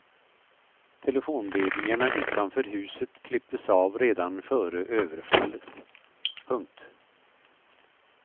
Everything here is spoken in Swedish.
Telefonledningarna utanför huset klipptes av redan före överfallet. punkt